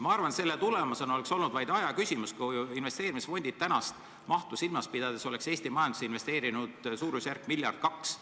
Ma arvan, et selle tulemusena oleks olnud vaid aja küsimus, kui investeerimisfondid oleks praegust mahtu silmas pidades Eesti majandusse investeerinud suurusjärgus miljard või kaks.